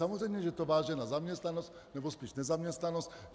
Samozřejmě se to váže na zaměstnanost, nebo spíš nezaměstnanost.